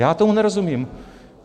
Já tomu nerozumím.